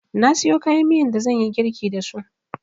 Na siyo kayan miyan da zanyi girlki dasu